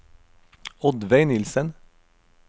Oddveig Nilssen